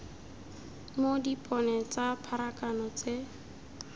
mo dipone tsa pharakano tse